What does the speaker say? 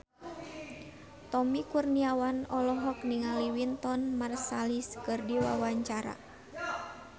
Tommy Kurniawan olohok ningali Wynton Marsalis keur diwawancara